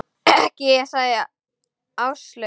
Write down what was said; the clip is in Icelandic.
Ekki ég sagði Áslaug.